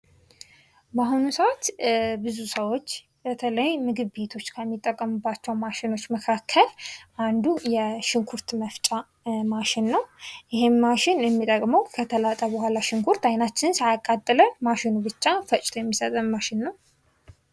በአሁኑ ሰዓት ብዙ ሰዎች በተለይ ምግብ ቤቶች ከሚጠቀሙበት ማሽኖች መካከል አንዱ የሽንኩርት መፍጫ ማሽን ነዉ። ይሄ ማሽን የሚጠቅመዉ ሽንኩርቱ ከተላጠ በኋላ አይናችንን ሳያቃጥል ሽንኩርት ፈጭቶ የሚሰጠን ማሽን ነዉ።